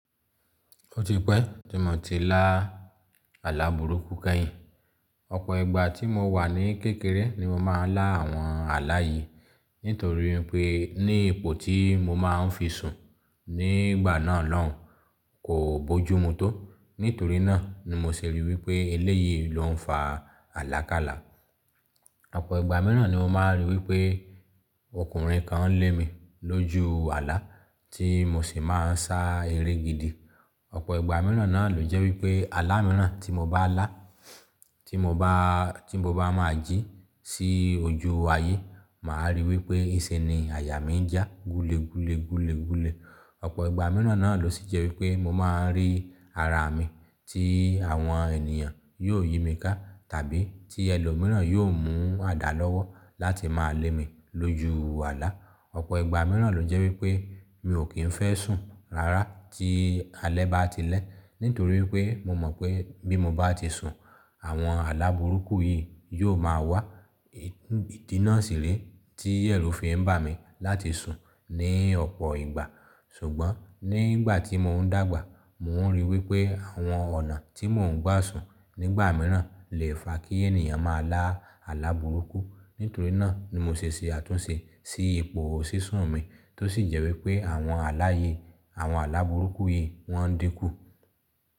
Ó ti pẹ́ tí mo ti lá alàbùrúkú kẹ́yìn. Ọ̀pọ̀ ìgbà tí mo wà ní kékeré ni mo máa ń lá àwọn àlá yìí nítorí pé ní ipò tí mo máa ń fi sùn nígbà náà lọ́hun kò bójú mu tó. Nítorí náà ni mo ṣe ríi wípé eléyìí ló ń fa àlákálà. Ọ̀pọ̀ ìgbà mìíràn ni mo máa ríi wípé ọkùnrin kan ń lé mi lójú àlá tí mo sì máa ń sá eré gidi. Ọ̀pọ̀ ìgbà mìíràn náà ló jẹ́ wípé àlá mìíràn tí mo bá lá tí mo bá máa jí sí ojú ayé màá ríi wípé iṣẹ́ ni àyà mi ń jà gúlé gúlé gúlé gúlé. Ọ̀pọ̀ ìgbà mìíràn náà ló sì jẹ́ wípé mo máa ń rí ara mi tí àwọn ènìyàn yóò yí mi ká tàbí tí ẹlòmíràn yóò mú àdá lọ́wọ́ láti máa lé mi lójú àlá. Ọ̀pọ̀ ìgbà mìíràn ló jẹ́ wípé mi ò kí ń fẹ́ sùn rárá tí alẹ́ bá ti lẹ́ nítorí pé mo mọ̀ pé bí mo bá ti sùn àwọn àlá burúkú yìí yóò máa wá. Ìdí náà sì rè tí ẹrù fíì n bá mi láti sùn ní ọ̀pọ̀ ìgbà. Ṣùgbọ́n nígbà tí mò ń dàgbà mò ń ríi wípé àwọn ọ̀nà tí mò ń gbà sùn nígbà mìíràn lè fa kí ènìyàn máa lá alàbùrúkú. Nítorí náà ni mo ṣe ṣe àtúnṣe sí ipò sísún mi tó sì jẹ́ wípé àwọn àlá yìí àwọn alàbùrúkú yìí wọ́n dínkù.